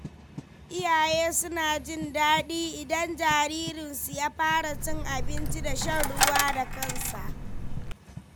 Iyaye suna jin daɗi idan jaririnsu ya fara cin abinci da shan ruwa da kansa.